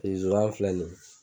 zonzan filɛ nin ye.